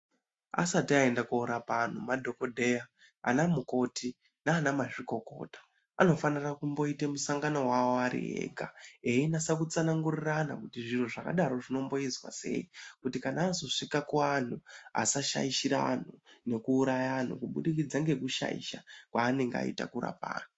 Asati ayenda korapa anhu, madhokodheya, anamukoti nanamazvikokota anofanira kumboite musangano awo ariyega. Veinatsa kutsanangurirana kuti zvinu zvakadaro zvinomboiswa sei kuti kana azoswika ku anhu asashayishira anhu neku uraya anhu kubhidikitsa ngekushaisha kwayinengene ayita ngekurapa anhu.